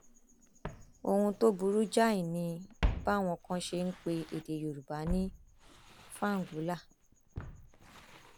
ohun tó burú jáì ni báwọn kan ṣe ń pe èdè yorùbá ní fàǹgólà